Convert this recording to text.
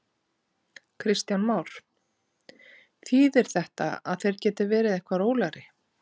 Kristján Már: Þýðir þetta að þeir geti verið eitthvað rólegri?